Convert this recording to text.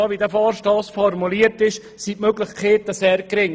So, wie der Vorstoss formuliert ist, sind die Möglichkeiten sehr gering.